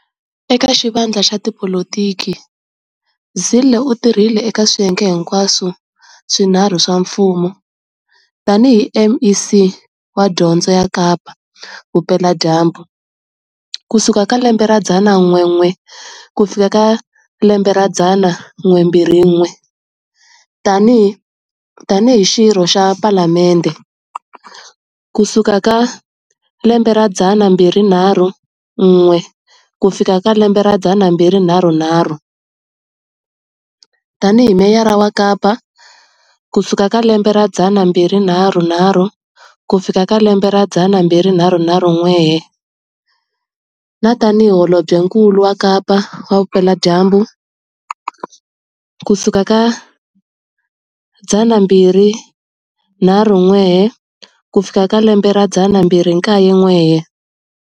Eka xivandla xa tipolitiki, Zille u tirhile eka swiyenge hinkwaswo swinharhu swa mfumo, tanihi MEC wa dyondzo ya Kapa Vupeladyambu, 1999-2001, tanihi Xirho xa Palamende, 2004-2006, tanihiMeyara wa Kapa, 2006-2009, na tanihi Holobyenkulu wa Kapa-Vupeladyambu, 2009-2019